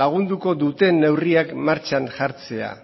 lagunduko duten neurriak martxan jartzea